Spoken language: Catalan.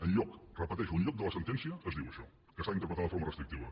enlloc ho repeteixo enlloc de la sentència es diu això que s’ha d’interpretar de forma restrictiva